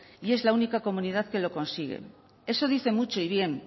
y esa la única comunidad que lo consigue eso dice mucho y bien